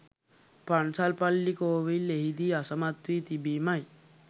පන්සල් පල්ලි කෝවිල් එහිදී අසමත් වී තිබීමයි.